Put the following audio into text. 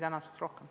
Kaja Kallas, palun!